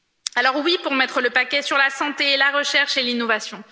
Alors, oui pour mettre le paquet sur la santé et la recherche et l'innovation.